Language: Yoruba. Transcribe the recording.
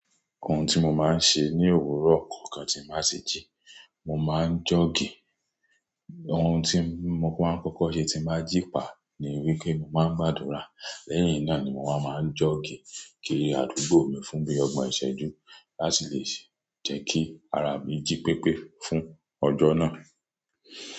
Ohun tí mo máa ń ṣe ní òwúrọ̀ tí mo bá ti jí, mo máa ń jog. Ohun tí mo máa ń kọ́kọ́ ṣe tí màá jí pàá ní wípé mo màá ń gbàdúrà. Lẹ́yìn náà ni mo wá máa ń jọ́ọ̀gì kiri àdúgbò mi fún bí i ọgbọ̀n ìṣẹ́jú láti lè jẹ́ kí ara mi jí pépé fún ọjọ́ náà.